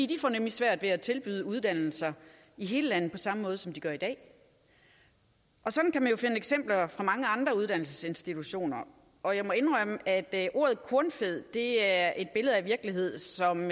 de får nemlig svært ved at tilbyde uddannelser i hele landet på samme måde som de gør i dag og sådan kan man jo finde eksempler fra mange andre uddannelsesinstitutioner og jeg må indrømme at ordet kornfed er et billede af en virkelighed som